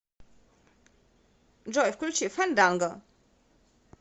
джой включи фанданго